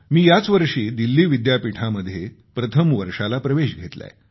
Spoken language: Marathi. मी याचवर्षी दिल्ली विद्यापीठामध्ये प्रथम वर्षाला प्रवेश घेतलाय